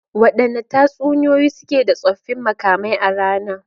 Wadanne tatsuniyoyi suke da tsoffin makamai a rana?